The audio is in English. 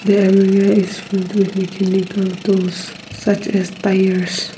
there area is filled with mechanical tools such as tires.